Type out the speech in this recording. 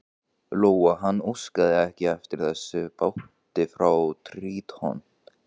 Lóa: Og hann óskaði ekki eftir þessum báti frá Tríton?